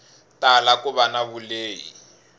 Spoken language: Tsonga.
tala ku va na vulehi